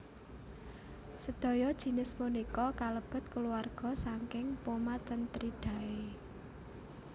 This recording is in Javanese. Sedaya jinis punika kalebet kulawarga saking Pomacentridae